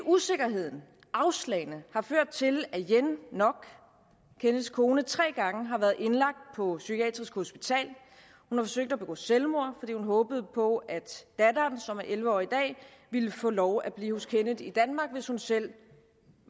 usikkerheden og afslagene har ført til at yen ngoc kenneths kone tre gange har været indlagt på psykiatrisk hospital hun har forsøgt at begå selvmord fordi hun håbede på at datteren som er elleve år i dag ville få lov at blive hos kenneth i danmark hvis hun selv